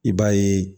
I b'a ye